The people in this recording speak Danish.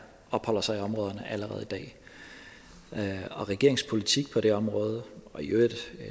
opholder sig i områderne allerede i dag og regeringens politik på det område der i øvrigt